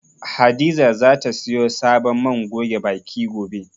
Hadiza zata siyo sabon man goge baki, gobe.